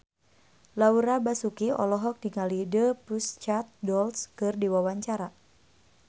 Laura Basuki olohok ningali The Pussycat Dolls keur diwawancara